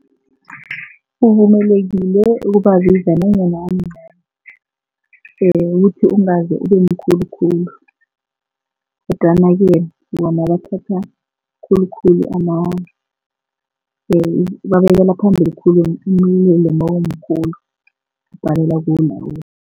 Uvumelekile ukubabiza nanyana umncani ukuthi ungaze ubemkhulukhulu kodwanake bona bathatha khulukhulu babekela phambili khulu umlilo nawumkhulu ubhalelwa kulawula.